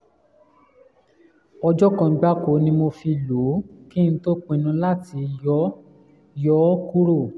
ọjọ́ kan gbáko ni mo fi lò ó kí n tó pinnu láti yọ yọ ọ́ kúrò